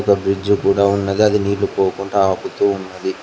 ఒ బ్రిడ్జి కూడా ఉన్నది అది నీళ్లు పోకుండా ఆపుతూ ఉన్నది.